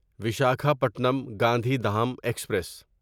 Visakhapatnam Gandhidham express